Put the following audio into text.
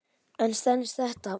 En stenst þetta?